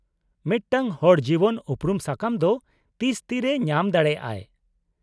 -ᱢᱤᱫᱴᱟᱝ ᱦᱚᱲ ᱡᱤᱵᱚᱱ ᱩᱯᱨᱩᱢ ᱥᱟᱠᱟᱢ ᱫᱚ ᱛᱤᱥ ᱛᱤᱨᱮᱭ ᱧᱟᱢ ᱫᱟᱲᱮᱭᱟᱜ ᱟᱭ ?